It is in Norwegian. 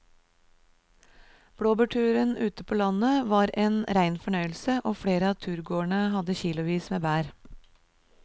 Blåbærturen ute på landet var en rein fornøyelse og flere av turgåerene hadde kilosvis med bær.